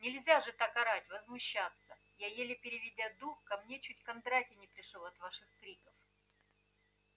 нельзя же так орать возмущаться я еле переведя дух ко мне чуть кондратий не пришёл от ваших криков